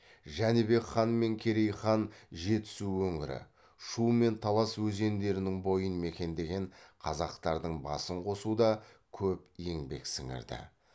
жәнібек хан мен керей хан жетісу өңірі шу мен талас өзендерінің бойын мекендеген қазақтардың басын қосуда көп еңбек сіңірді